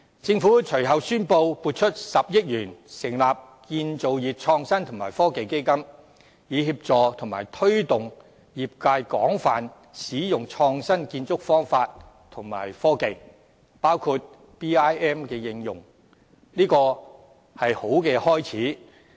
政府隨後宣布撥出10億元成立建造業創新及科技基金，以協助和推動業界廣泛使用創新建築方法及新科技，包括 BIM 的應用，這是好的開始。